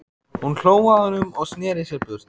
Hún hló að honum og sneri sér burt.